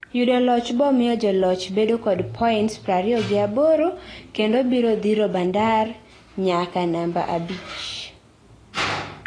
yudo loch bomiyo joloch bedo kod points prariyogiaboro kendo biro dhiro Bandar inyaka namba abich